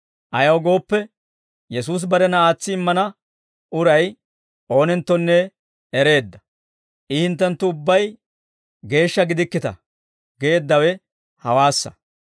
Ayaw gooppe, Yesuusi barena aatsi immana uray oonenttonne ereedda; I, «Hinttenttu ubbay geeshsha gidikkita» geeddawe hawaassa.